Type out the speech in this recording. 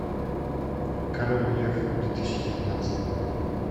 король лев две тысячи девятнадцатого года